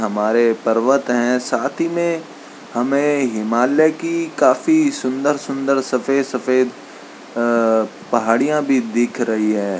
हमारे पर्वत हैं साथ ही में हमें हिमालय की काफी सुंदर-सुंदर सफ़ेद-सफ़ेद अ पहाड़ियाँ भी दिख रही हैं।